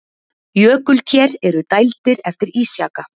Jökulker eru dældir eftir ísjaka.